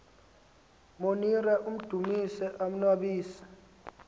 monira amdumise umnnwabisi